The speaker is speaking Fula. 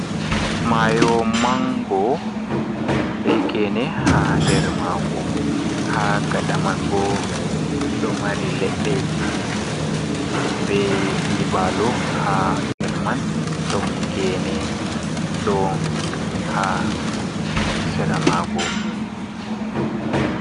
Maayo manngo be geene haa nder maango, haa gaɗa man bo, ɗo mari leɗɗeeji, be nyiɓaalu haa her man, ɗon geene, ɗo haa sera maango.